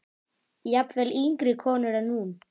Jafnvel yngri konur en hún.